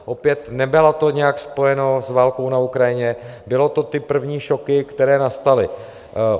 Opět, nebylo to nijak spojeno s válkou na Ukrajině, byly to ty první šoky, které nastaly.